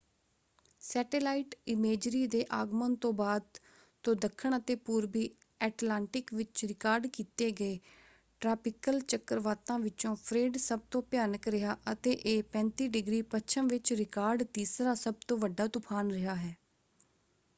Satellite imagery ਦੇ ਆਗਮਨ ਤੋਂ ਬਾਅਦ ਤੋਂ ਦੱਖਣ ਅਤੇ ਪੂਰਬੀ ਐਟਲਾਂਟਿਕ ਵਿੱਚ ਰਿਕਾਰਡ ਕੀਤੇ ਗਏ ਟ੍ਰਾਪਿਕਲ ਚੱਕਰਵਾਤਾਂ ਵਿਚੋਂ ਫ੍ਰੇਡ ਸਭ ਤੋਂ ਭਿਆਨਕ ਰਿਹਾ ਹੈ ਅਤੇ ਇਹ 35° ਪੱਛਮ ਵਿੱਚ ਰਿਕਾਰਡ ਤੀਸਰਾ ਸਭ ਤੋਂ ਵੱਡਾ ਤੂਫਾਨ ਰਿਹਾ ਹੈ।